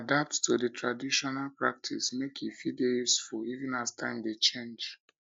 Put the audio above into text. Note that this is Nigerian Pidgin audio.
adapt to di trational um practices make e fit dey useful um even as time um dey change